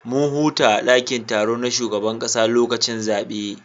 Mun huta a dakin taro na shugaban kasa lokacin zabe